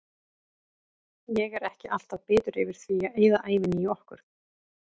Ég er ekki alltaf bitur yfir því að eyða ævinni í okkur.